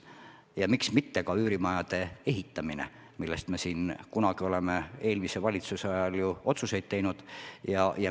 Ja miks mitte ka üürimajade ehitamine, mille kohta me oleme eelmise valitsuse ajal samuti otsuseid teinud.